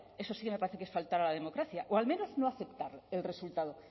eso sí que me parece que es faltar a la democracia o al menos no aceptar el resultado